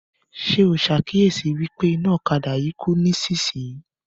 Ṣé o ṣàkíyesi wípé iná ọ̀kadà yí kú nísìsiyìí